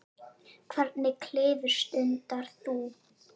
Hvernig klifur stundar þú?